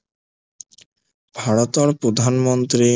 ভাৰতৰ প্ৰধানমন্ত্ৰী